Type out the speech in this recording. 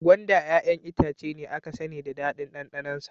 Gwanda 'ya'yan itace ne aka sani da daɗin ɗanɗanonsa.